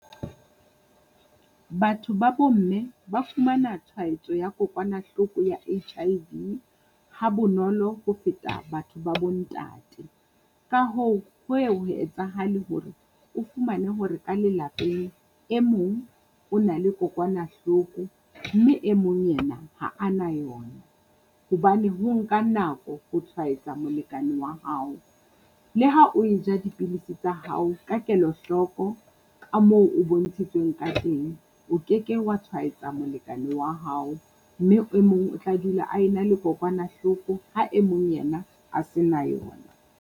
Batho ba bo mme ba fumana tshwaetso ya kokwanahloko ya H_I_V ha bonolo ho feta batho ba bo ntate. Ka hoo ho ye ho etsahale hore o fumane hore ka lelapeng e mong o na le kokwanahloko, mme e mong ena ha a na yona hobane ho nka nako ho tshwaetsa molekane wa hao. Le ha o e ja dipilisi tsa hao ka kelohloko ka moo o bontshitsweng ka teng, o keke wa tshwaetsa molekane wa hao, mme e mong o tla dula a ena le kokwanahloko ha e mong ena a se na yona.